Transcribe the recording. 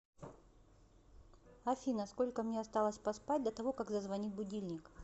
афина сколько мне осталось поспать до того как зазвонит будильник